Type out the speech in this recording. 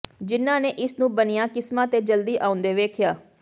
ਜਿਨ੍ਹਾਂ ਨੇ ਇਸ ਨੂੰ ਬਣੀਆਂ ਕਿਸਮਾਂ ਤੇ ਜਲਦੀ ਆਉਂਦੇ ਵੇਖਿਆ